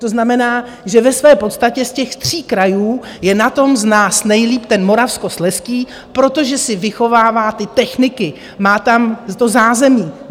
To znamená, že ve své podstatě z těch tří krajů je na tom z nás nejlíp ten Moravskoslezský, protože si vychovává ty techniky, má tam to zázemí.